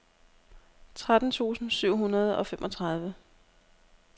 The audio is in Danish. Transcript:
tretten tusind syv hundrede og femogtredive